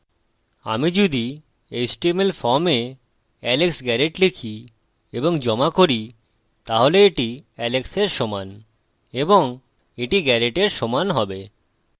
আমি যদি html form এ alex garret লিখি এবং জমা করি তাহলে এটি alex এর সমান এবং এটি garret এর সমান হবে